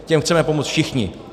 Těm chceme pomoci všichni.